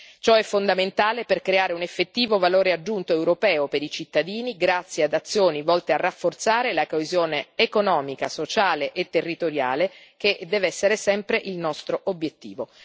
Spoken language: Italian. Ciò è fondamentale per creare un effettivo valore aggiunto europeo per i cittadini grazie ad azioni volte a rafforzare la coesione economica, sociale e territoriale, che deve essere sempre il nostro obiettivo.